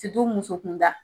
musokunda